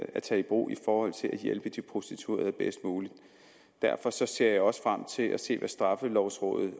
at tage i brug for at hjælpe de prostituerede bedst muligt derfor ser jeg også frem til at se hvad straffelovrådets